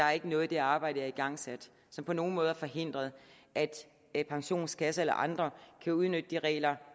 er noget i det arbejde har igangsat som på nogen måde har forhindret at pensionskasser eller andre kan udnytte de regler